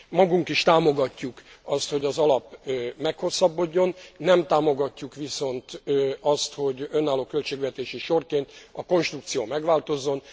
Magunk is támogatjuk azt, hogy az alap meghosszabbodjon, nem támogatjuk viszont azt, hogy önálló költségvetési sorként a konstrukció megváltozzon.